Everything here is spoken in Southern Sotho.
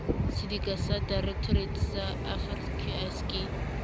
sedika ya directorate saafqis ke